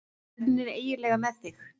Hvernig er eiginlega með þig?